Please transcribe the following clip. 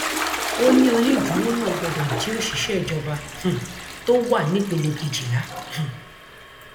ó ní onídùúró náà gbọdọ jẹ òṣìṣẹ ìjọba um tó wà nípele kejìlá um